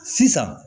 Sisan